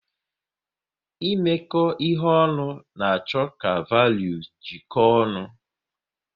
Imeko ihe ọnụ na-achọ ka valuu jeko ọnụ